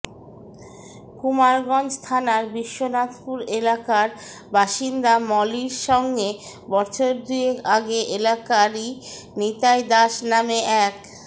কুমারগঞ্জ থানার বিশ্বনাথপুর এলাকার বাসিন্দা মলির সঙ্গে বছরদুয়েক আগে এলাকারই নিতাই দাস নামে এক